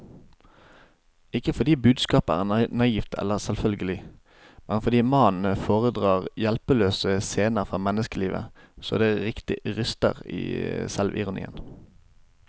Ikke fordi budskapet er naivt eller selvfølgelig, men fordi mannen foredrar hjelpeløse scener fra menneskelivet så det riktig ryster i selvironien.